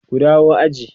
ku dawo aji!